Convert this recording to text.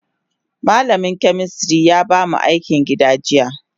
Malamin chemistry ya bamu akin gida jiya.